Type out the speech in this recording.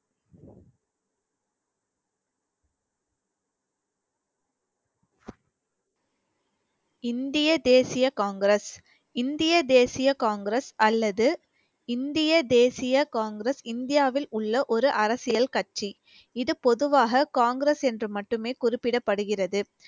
இந்திய தேசிய காங்கிரஸ் இந்திய தேசிய காங்கிரஸ் அல்லது இந்திய தேசிய காங்கிரஸ் இந்தியாவில் உள்ள ஒரு அரசியல் கட்சி இது பொதுவாக காங்கிரஸ் என்று மட்டுமே குறிப்பிடப்படுகிறது